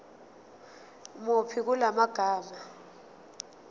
muni kula magama